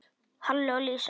Halli og Lísa.